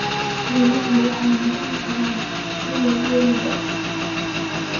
Xooluhu waxay noqon karaan ilo dhaqaale.